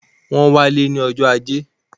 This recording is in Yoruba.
Wọ́n wá lé ní ọjọ́ ajé